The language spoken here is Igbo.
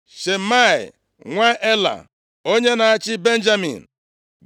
Shimei nwa Ela onye na-achị Benjamin.